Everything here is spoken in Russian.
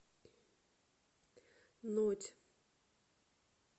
нодь